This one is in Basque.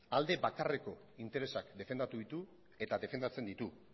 alde bakarreko interesak defendatu ditu eta defendatzen ditu